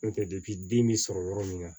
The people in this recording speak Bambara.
N'o tɛ den bɛ sɔrɔ yɔrɔ min na